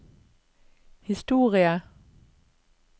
historie